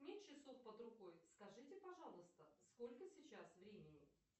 нет часов под рукой скажите пожалуйста сколько сейчас времени